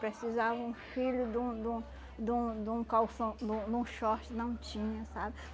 precisava um filho de um de um de um de um calção, de um de um short, não tinha, sabe?